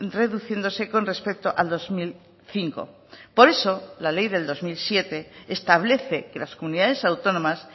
reduciéndose con respecto al dos mil cinco por eso la ley del dos mil siete establece que las comunidades autónomas